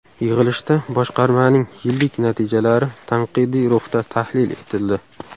Yig‘ilishda boshqarmaning yillik natijalari tanqidiy ruhda tahlil etildi.